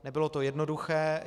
Nebylo to jednoduché.